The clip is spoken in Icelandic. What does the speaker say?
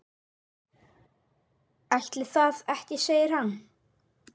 Ætli það ekki segir hann.